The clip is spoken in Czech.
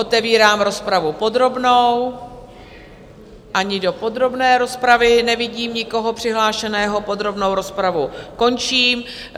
Otevírám rozpravu podrobnou, ani do podrobné rozpravy nevidím nikoho přihlášeného, podrobnou rozpravu končím.